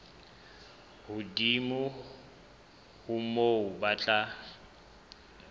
hodimo ho moo ba tla